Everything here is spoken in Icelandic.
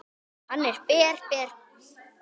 Hann er ber, ber.